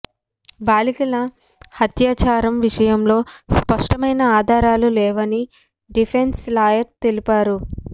బాలికల హత్యాచారం విషయంలో స్పష్టమైన ఆధారాలు లేవని డిఫెన్స్ లాయర్ తెలిపారు